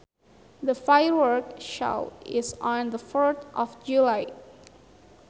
The firework show is on the fourth of July